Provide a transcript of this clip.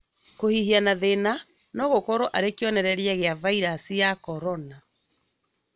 Kũhihia na thĩna nogũkorwo arĩ kĩonereria gĩa viraci cia Korona